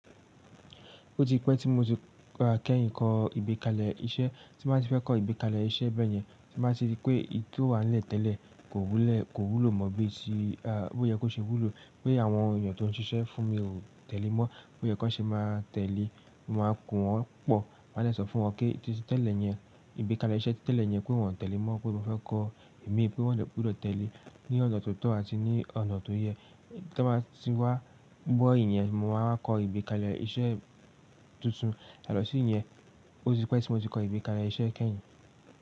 Ó ti pẹ́ tí mo ti máa kẹ́yìn kọ ìgbékalẹ̀ iṣẹ́, tí máa ti fẹ́ kọ ìgbékalẹ̀ iṣẹ́ bẹ́yẹn, tí máa tì rí pé ike tó wà nílẹ̀ tẹ́lẹ̀ kò wúlò mọ́ bí tí ó yẹ kó ṣe wúlò, pé àwọn èèyàn tó ń ṣiṣẹ́ fún mi o tẹ̀lé mọ́, bó yẹ kó ṣe máa tẹ̀lé, mo máa ń kun wọ́n pọ̀, máa dè sọ fún wọn pé títí tẹ́lẹ̀ yẹn, ìgbékalẹ̀ iṣẹ́ tí tẹ́lẹ̀ yẹn pé wọ́n tẹ̀lé mọ́ pé mo fẹ́ kọ imi pé wọ́n de gbúdọ̀ tẹ̀lé ní ọ̀nà tó tọ́ àti ní ọ̀nà tó yẹ. Tí wọ́n bá ti wá gbọ́ ìyẹn, mo máa wa kọ ìgbékalẹ̀ iṣẹ́ tuntun. Yato sí ìyẹn, ó ti pẹ́ tí mo ti kọ ìgbékalẹ̀ iṣẹ́ kẹ́yìn.